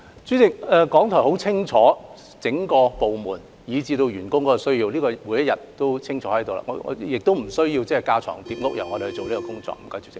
主席，港台很清楚整個部門以至員工的日常需要，不需要政府架床疊屋去做這項工作。